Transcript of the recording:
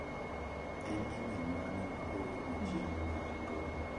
En imel mane ma oor machiegni ma an godo?